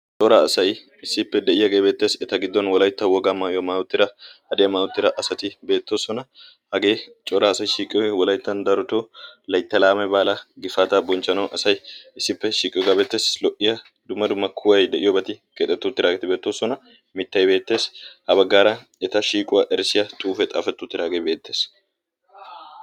coraa asay issippe de'iyaagee beettees eta giddon wolaytta wogaa maayuwaa maayi uttida hadiyaa maayi uttira asati beettoosona hagee coraa asay shiiqiyoy wolayttan daroto laytta laame baala gifaataa bonchchanawu asay issippe shiiqiyogaa bettees lo'iya dumma dumma kuway de'iyoobaati keexetti uttiraageeti beettoosona mittay beettees ha baggaara eta shiiquwaa erssiyaa xuufe xaafetti utiraagee beettees